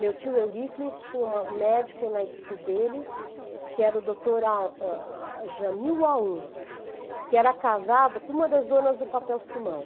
Meu tio Euríclides tinha um médico na equipe dele, que era o doutor Jamil Aoun, que era casado com uma das donas do papel-simão.